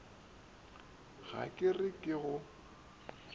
ga ke re ke go